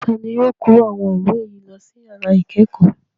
Ta ni yóò kó àwọn ìwé yìí lọ sí ìyàrá ìkẹ́kọ̀ọ́?